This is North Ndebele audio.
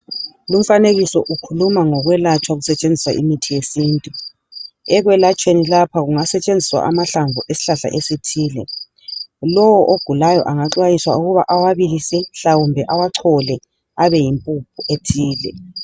Lumfanekiso ukhuluma ngokwelatshwa kusetshenziswa imithi yesintu, ekwela tshweni lapha kunga setshenziswa amahlamvu esihlahla esithile. Lowo ogulayo angaxwayiswa ukuba awabilise mhlawumbe ewachole abe yimpuphu ethile.